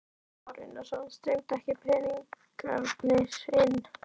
Kristján Már Unnarsson: Streymdu ekki peningarnir inn?